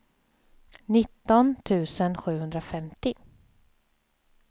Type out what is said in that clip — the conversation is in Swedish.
nitton tusen sjuhundrafemtio